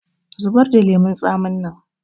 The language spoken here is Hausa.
Zubar da lemun tsamin nan!